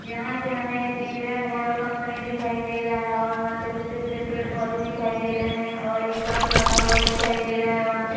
यहाँ पे हमें एक इंडियन ऑइल कम्पनी दिखाई दे रहा है और वहाँ पे छोटे-छोटे पेड़-पौधे दिखाई दे रहे हैं और एक बस लगा हुआ दिखाई दे रहा है वहाँ पे।